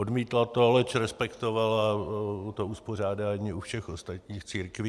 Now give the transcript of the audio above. Odmítla to, leč respektovala to uspořádání u všech ostatních církví.